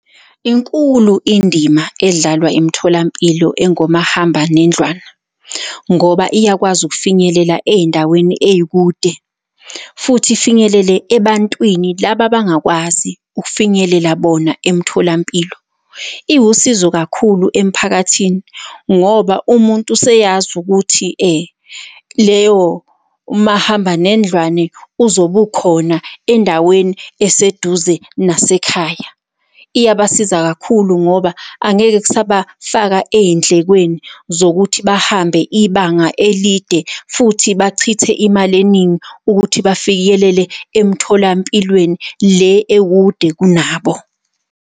Inkulu Indima edlalwa imitholampilo engomahambanendlwana ngoba iyakwazi ukufinyelela ey'ndaweni ey'kude, futhi ifinyelele ebantwini laba abangakwazi ukufinyelela bona emtholampilo. Iwusizo kakhulu emphakathini, ngoba umuntu useyazi ukuthi leyo, umahambanendlwane uzobe ukhona endaweni eseduze nasekhaya. Iyabasiza kakhulu ngoba angeke kusabafaka ey'ndlekweni zokuthi bahambe ibanga elide futhi bachithe imali eningi ukuthi bafikelele emtholampilweni le ekudeni kunabo.